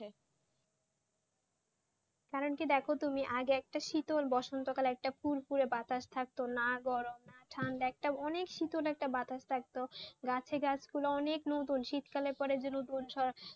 কারণ কি দেখো তুমি আগে একটা শীতল বসন্ত কালে একটা ফুরফুঁরে বাতাস থাকতো না গরম না ঠান্ডা একটা অনেক শীতল একটা বাতাস থাকতো গাছে গাছ পালা অনেক নতুন শীতকালে পরে যান